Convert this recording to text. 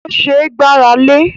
Ó ṣẹ́ gbáralé